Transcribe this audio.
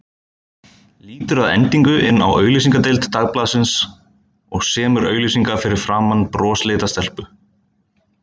Lítur að endingu inn á auglýsingadeild Dagblaðsins og semur auglýsingu fyrir framan brosleita stelpu.